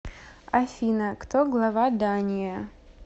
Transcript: афина кто глава дания